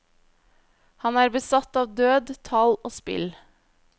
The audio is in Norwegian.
Han er besatt av død, tall og spill.